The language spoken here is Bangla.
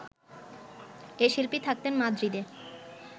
এ শিল্পী থাকতেন মাদ্রিদে